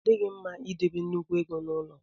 Ọ dịghị mma idebe nnukwu ego n'ụlọ.